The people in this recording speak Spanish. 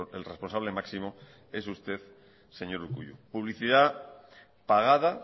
el responsable máximo es usted señor urkullu publicidad pagada